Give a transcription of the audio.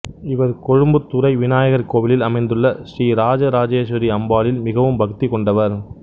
இவர் கொழும்புத்துறை விநாயகர் கோவிலில் அமைந்துள்ள ஸ்ரீஇராஜ இராஜேஸ்வரி அம்பாளில் மிகவும் பக்தி கொண்டவர்